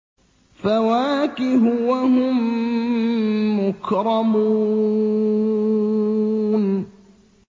فَوَاكِهُ ۖ وَهُم مُّكْرَمُونَ